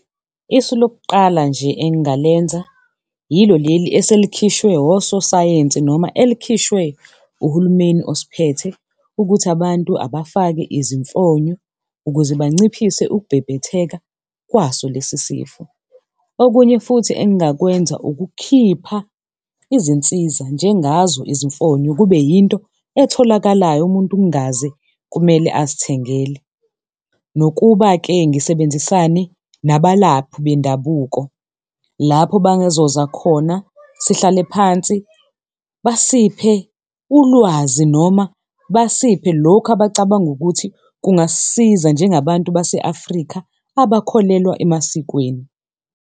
Isu lokuqala nje engingalenza yilo leli eselikhishwe ososayensi noma elikhishwe uhulumeni osiphethe ukuthi abantu abafake izimfonyo ukuze banciphise ukubhebhetheka kwaso lesisifo. Okunye futhi engingakwenza ukukhipha izinsiza njengazo izimfonyo kube yinto etholakalayo umuntu kungaze kumele azithengele, nokuba-ke ngisebenzisane nabalaphi bendabuko lapho bazoza khona sihlale phansi basiphe ulwazi noma basiphe lokhu abacabanga ukuthi kungasisiza njengabantu base Afrika abakholelwa emasikweni.